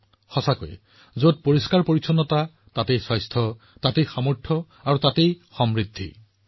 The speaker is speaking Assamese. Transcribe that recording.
প্ৰকৃততে যত পৰিষ্কাৰপৰিচ্ছন্নতা আছে স্বাস্থ্য আছে যত স্বাস্থ্য আছে শক্তি আছে আৰু যত শক্তি আছে সমৃদ্ধি আছে